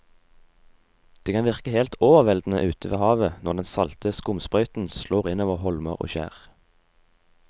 Det kan virke helt overveldende ute ved havet når den salte skumsprøyten slår innover holmer og skjær.